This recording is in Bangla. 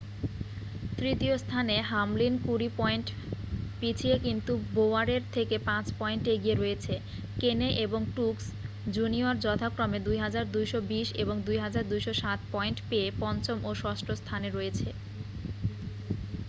তৃতীয় স্থানে হামলিন কুড়ি পয়েন্ট পিছিয়ে কিন্তু বোওয়ারের থেকে পাঁচ পয়েন্ট এগিয়ে রয়েছে কেনে এবং ট্রুক্স জুনিয়র যথাক্রমে 2,220 এবং 2,207 পয়েন্ট পেয়ে পঞ্চম ও ষষ্ঠ স্থানে রয়েছে